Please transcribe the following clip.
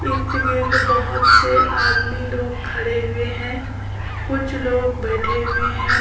इर्द- गिर्द बोहोत से आदमी लोग खड़े हुए है कुछ लोग बैठे हुए है।